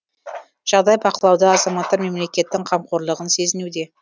жағдай бақылауда азаматтар мемлекеттің қамқорлығын сезінуде